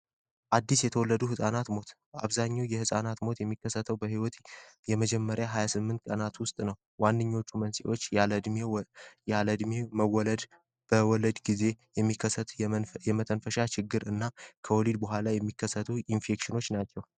አዲስ የተወለዱ ሕፃናት ሞት አብዛኙው የሕፃናት ሞት የሚከሰተው በህይወት የመጀመሪያ 28 ቀናት ውስጥ ነው። ዋንኞቹ መንሴዎች ያለድሜው መወለድ በወለድ ጊዜ የሚከሰቱ የመተንፈሻ ችግር እና ከውሊድ በኋላ የሚከሰቱ ኢንፌክሽኖች ናቸው።